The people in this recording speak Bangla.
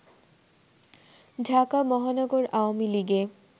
ঢাকা মহানগর আওয়ামী লীগে